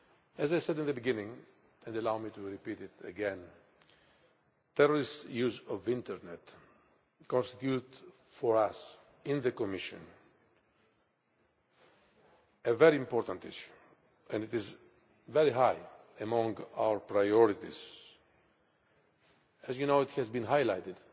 As I said at the beginning and allow me to repeat it terrorists' use of the Internet constitutes for us in the Commission a very important issue and it is very high among our priorities. As you know, it has been highlighted